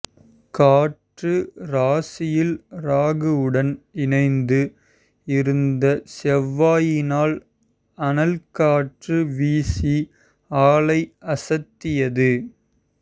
காற்று ராசியில் ராகு உடன் இணைந்து இருந்த செவ்வாயினால் அனல் காற்று வீசி ஆளை அசத்தியது